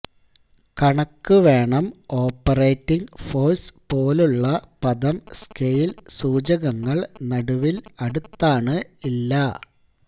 കണക്കു വേണം operating force പോലുള്ള പദം സ്കെയിൽ സൂചകങ്ങൾ നടുവിൽ അടുത്താണ് ഇല്ല